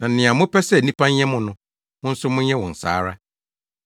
Na nea mopɛ sɛ nnipa nyɛ mo no, mo nso monyɛ wɔn saa ara.